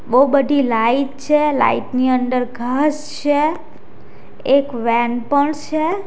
બહુ બધી લાઈટ છે લાઈટ ની અંદર ઘાસ છે એક વેન પણ છે.